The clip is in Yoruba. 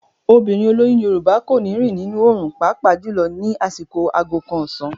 Obìnrin olóyún Yorùbá kò ní rìn nínú òòrùn pàápàá jùlọ ní àsìkò aago kan ọ̀sán.